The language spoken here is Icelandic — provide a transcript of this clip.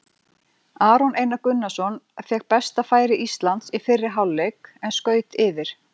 Aron Einar Gunnarsson fékk besta færi Íslands í fyrri hálfleik en skaut yfir.